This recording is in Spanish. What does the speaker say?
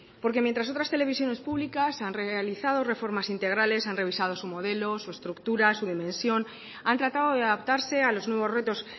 porque mientras otras televisiones públicas han realizado reformas integrales han revisado su modelo su estructura su dimensión han tratado de adaptarse a los nuevos retos